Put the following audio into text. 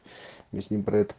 мы с ним про это